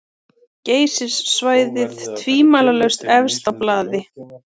Geysissvæðið tvímælalaust efst á blaði.